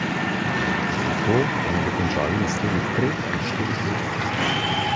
Tudi to bomo dokončali v naslednjih treh ali štirih letih.